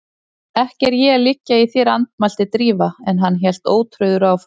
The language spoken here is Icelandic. Ekki er ég að liggja í þér- andmælti Drífa en hann hélt ótrauður áfram